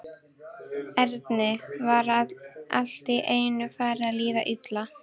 Erni var allt í einu farið að líða illa.